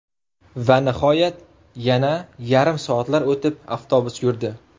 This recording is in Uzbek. Va nihoyat, yana yarim soatlar o‘tib, avtobus yurdi.